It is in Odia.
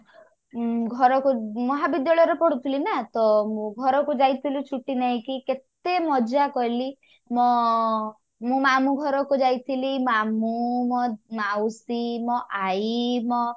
ଉଁ ଘରକୁ ମହାବିଦ୍ୟାଳୟରେ ପଢୁଥିଲି ନା ତ ମୁଁ ଘରକୁ ଯାଇଥିଲି ଛୁଟି ନେଇକି କେତେ ମଜା କଲି ମ ମୁଁ ମାମୁଁ ଘରକୁ ଯାଇଥିଲି ମାମୁଁ ମୋ ମାଉସୀ ମୋ ଆଇ ମୋ